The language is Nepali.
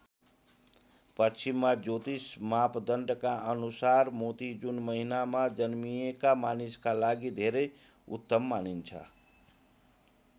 पश्चिमा ज्योतिष मापदण्डका अनुसार मोती जुन महिनामा जन्मिएका मानिसका लागि धेरै उत्तम मानिन्छ।